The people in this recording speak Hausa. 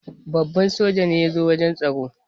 Babban hafsan soja ne ya zo wajen taron.